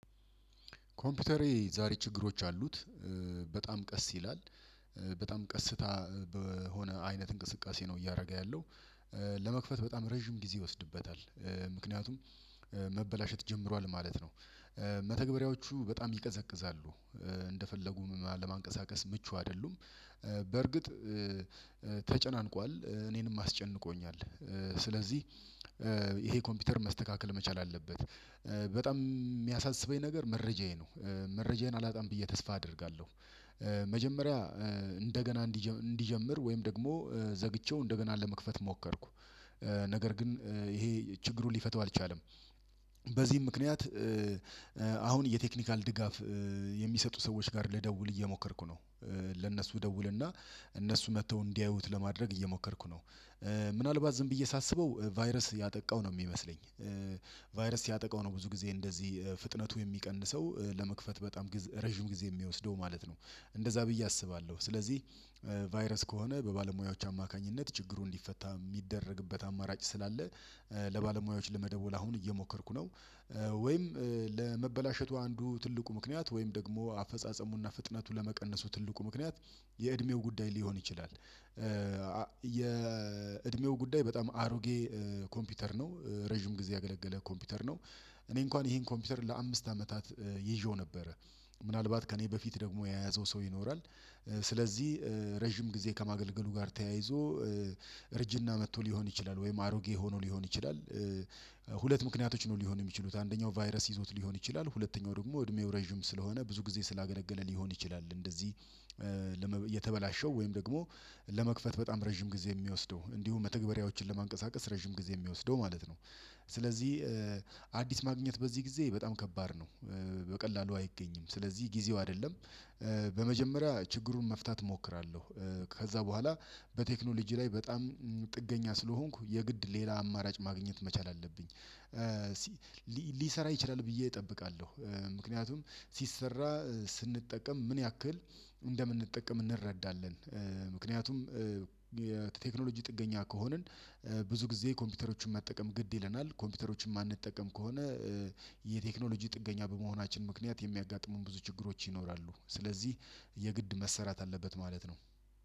ኮምፒውተሬ ዛሬ ችግሮች አሉት። በጣም ቀስ ይላል በጣም ቀስታ በሆነ አይነት እንቅስቃሴ ነው እያደረገ ያለው ለመክፈት በጣም ረጅም ጊዜ ይወስድበታል ምክንያቱም መበላሸት ጀምሯል ማለት ነው። መተግበሪያዎቹ በጣም ይቀዘቅዛሉ እንደፈለጉም ለማንቀሳቀስ ምቹ አይደሉም፣ በርግጥ ተጨናንቋል እኔንም አስጨንቆኛል ስለዚህ ይሄ ኮምፒውተር መስተካከል መቻል አለበት። በጣም የሚያሳስበኝ ነገር መረጃዬ ነው መረጃዬን አላጣም ብዬ ተስፋ አደርጋለሁ። መጀመሪያ እንደገና እንዲጀምር ወይም ደግሞ ዘግቼው እንደገና ለመክፈት ሞከርኩ ነገር ግን ይሄ ችግሩን ሊፈታው አልቻለም። በዚህም ምክንያት አሁን የቴክኒካል ድጋፍ የሚሰጡ ሰዎች ጋር ልደውል እየሞከርኩ ነው። ለነሱ እደውልና እነሱ መጥተው እንዲያዩት ለማድረግ እየሞከርኩ ነው። ምናልባት ዝም ብዬ ሳስበው ቫይረስ ያጠቃው ነው የሚመስለኝ ቫይረስ ሲያጠቃው ነው ብዙ ጊዜ እንደዚህ ፍጥነቱ የሚቀንሰው ለመክፈት በጣም ረጅም ጊዜ የሚወስደው ማለት ነው እንደዛ ብዬ አስባለሁ ስለዚህ ቫይረስ ከሆነ በባለሙያዎች አማካኝነት ችግሩን እንዲፈታ የሚደረግበት አማራጭ ስላለ ለባለሙያዎች ለመደወል አሁን እየሞከርኩ ነው ወይም ለመበላሸቱ አንዱ ትልቁ ምክንያት ወይም ደግሞ አፈጻጸሙና ፍጥነቱ ለመቀነሱ ትልቁ ምክንያት የእድሜው ጉዳይ ሊሆን ይችላል። የእድሜው ጉዳይ በጣም አሮጌ ኮምፒውተር ነው፣ ረጅም ጊዜ ያገለገለ ኮምፒውተር ነው፣ እኔ እንኳን ይሄን ኮምፒውተር ለአምስት አመታት ይዤው ነበረ። ምናልባት ከእኔ በፊት ደግሞ የያዘው ሰው ይኖራል፣ ስለዚህ ረጅም ጊዜ ከማገልገሉ ጋር ተያይዞ እርጅና መጥቶ ሊሆን ይችላል ወይም አሮጌ ሆኖ ሊሆን ይችላል፣ ሁለት ምክንያቶች ነው ሊሆኑ የሚችሉት አንደኛው ቫይረስ ይዞት ሊሆን ይችላል፣ ሁለተኛው ደግሞ እድሜው ሬዥም ስለሆነ ብዙ ጊዜ ስላገለገለ ሊሆን ይችላል እንደዚ የተበላሸው ወይም ደግሞ ለመክፈት በጣም ረጅም ጊዜ የሚወስደው እንዲሁም መተግበሪያዎችን ለማንቀሳቀስ ረጅም ጊዜ የሚወስደው ማለት ነው። ስለዚህ አዲስ ማግኘት በዚህ ጊዜ በጣም ከባድ ነው በቀላሉ አይገኝም ስለዚህ ጊዜው አይደለም በመጀመሪያ ችግሩን መፍታት እሞክራለሁ ከዛ በኋላ በቴክኖሎጂ ላይ በጣም ጥገኛ ስለሆንኩ የግድ ሌላ አማራጭ ማግኘት መቻል አለብኝ። ሊሰራ ይችላል ብዬ እጠብቃለሁ ምክንያቱም ሲሰራ ስንጠቀም ምን ያክል እንደምንጠቀም እንረዳለን ምክንያቱም የቴክኖሎጂ ጥገኛ ከሆንን ብዙ ጊዜ ኮምፒውተሮችን ማጠቀም ግድ ይለናል ኮምፒውተሮችን ማንጠቀም ከሆነ የቴክኖሎጂ ጥገኛ በመሆናችን ምክንያት የሚያጋጥሙን ብዙ ችግሮች ይኖራሉ ስለዚህ የግድ መሰራት አለበት ማለት ነው።